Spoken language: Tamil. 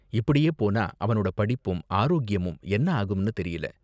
இப்படியே போனா அவனோட படிப்பும் ஆரோக்கியமும் என்ன ஆகும்னு தெரியல.